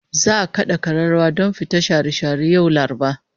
Za'a kada kararrawa don fita share share yau Laraba